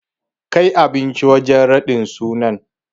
Kai abincin wajen raɗin sunan.